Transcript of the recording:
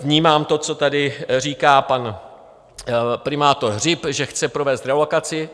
Vnímám to, co tady říká pan primátor Hřib, že chce provést relokaci.